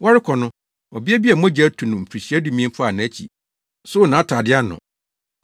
Wɔrekɔ no, ɔbea bi a mogya atu no mfirihyia dumien faa nʼakyi, soo nʼatade ano.